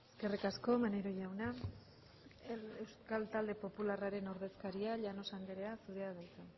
eskerrik asko maneiro jauna euskal talde popularraren ordezkaria llanos andrea zurea da hitza